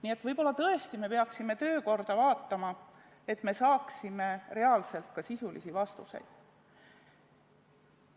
Nii et võib-olla tõesti me peaksime töökorda vaatama, et me saaksime reaalselt ka sisulisi vastuseid.